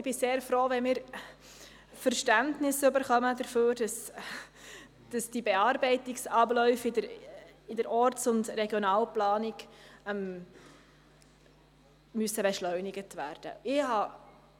Ich bin sehr froh, wenn wir dafür Verständnis bekommen, dass die Bearbeitungsabläufe in der Orts- und Regionalplanung beschleunigt werden müssen.